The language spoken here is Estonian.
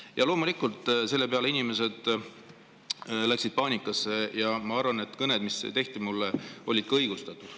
Ja loomulikult selle peale inimesed läksid paanikasse ja ma arvan, et kõned, mis mulle tehti, olid õigustatud.